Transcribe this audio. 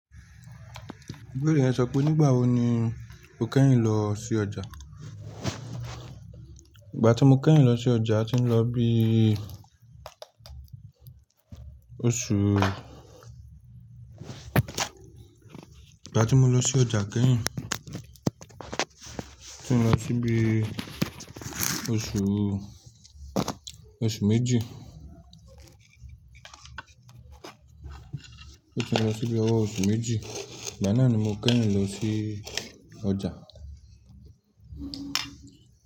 Ibeere yen sọ pé nígbà wo ni o kẹ́yìn lọ sí ọjà? Ìgbà tí mo kẹ́yìn lọ sí ọjà, tín lọ bí i oṣù ìgbà tí mo lọ sí ọjà kẹ́yìn, tí mo lọ síbi oṣù oṣù méjì tí mo lọ síbi ọwọ́ oṣù méjì, igba nàá ni mo kẹ́yìn lọ sí ọjà.